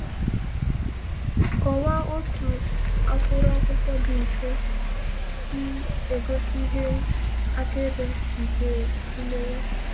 “Kọwaa otú akwụrụ akwụkwọ dị mfe si egosi ihe akaebe nke imewe.”